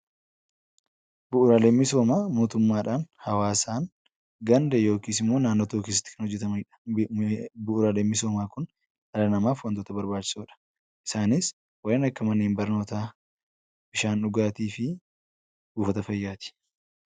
Bu'uuraaleen misoomaa mootummaadhan hawaasaan Ganda yookiin magaala tokko keessatti kan hojjetamaniidh. Bura'aalee misoomaa Kun dhala namaaf baayyee barbaachisoodha isaanis kanneen akka manneen barnootaa, bishaan dhugaatiiti.